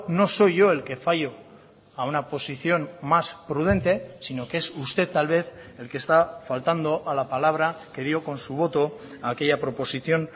no soy yo el que fallo a una posición más prudente sino que es usted tal vez el que está faltando a la palabra que dio con su voto a aquella proposición